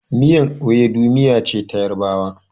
Miyar Iwidu miya ce ta yarabawa